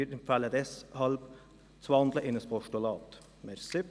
Wir empfehlen deshalb, in ein Postulat zu wandeln.